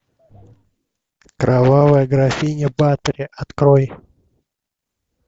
кровавая графиня батори открой